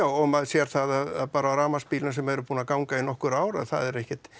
og maður sér það að bara á rafmagnsbílum sem eru búnir að ganga í nokkur ár að það er ekkert